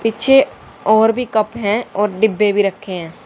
पीछे और भी कप हैं और डिब्बे भी रखे हैं।